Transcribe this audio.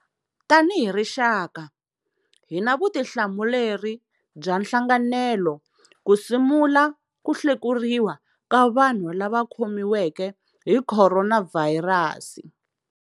Tanihi rixaka, hi na vutihlamuleri bya nhlanganelo ku simula ku hlekuriwa ka vanhu lava khomiweke hi khoronavhayirasi.